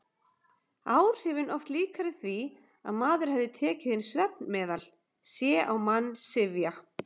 Áhrifin oft líkari því að maður hefði tekið inn svefnmeðal: sé á mann syfja.